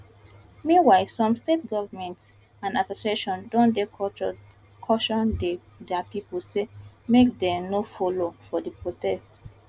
meanwhile some state governments and associations don dey caution dia pipo say make dem no follow for di protest